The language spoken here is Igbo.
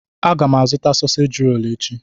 Aga m azụta soseji echi.